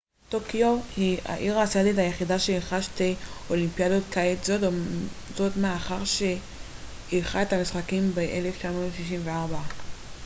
טוקיו תהיה העיר האסיאתית היחידה שאירחה שתי אולימפיאדות קיץ זאת מאחר שאירחה את המשחקים ב 1964